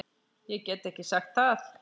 Ég get ekki sagt það.